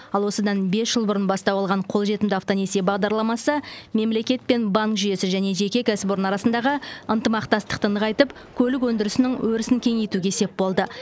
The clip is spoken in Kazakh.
ал осыдан бес жыл бұрын бастау алған қолжетімді автонесие бағдарламасы мемлекет пен банк жүйесі және жеке кәсіпорын арасындағы ынтымақтастықты нығайтып көлік өндірісінің өрісін кеңейтуге сеп болды